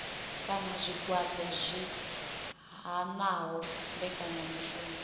kana zwigwada zwi hanaho mbekanyamishumo